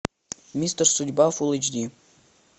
мистер судьба фул эйч ди